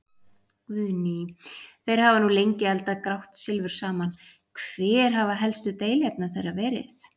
Guðný: Þeir hafa nú lengi eldað grátt silfur saman, hver hafa helstu deiluefni þeirra verið?